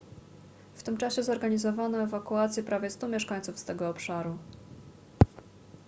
w tym czasie zorganizowano ewakuację prawie 100 mieszkańców z tego obszaru